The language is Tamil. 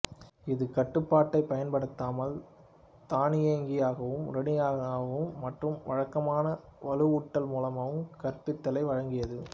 இது கட்டுப்பாட்டைப் பயன்படுத்தாமல் தானியங்கியாகவும் உடனடியாகவும் மற்றும் வழக்கமான வலுவூட்டல் மூலமும் கற்பித்தலை வழங்கியது